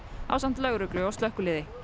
ásamt lögreglu og slökkviliði